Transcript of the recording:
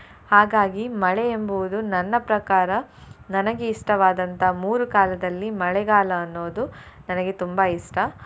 ಹಾಗಾಗಿ ಮಳೆ ಎಂಬುವುದು ನನ್ನ ಪ್ರಕಾರ ನನಗೆ ಇಷ್ಟವಾದಂತ ಮೂರು ಕಾಲದಲ್ಲಿ ಮಳೆಗಾಲ ಅನ್ನೋದು ನನಗೆ ತುಂಬಾ ಇಷ್ಟ.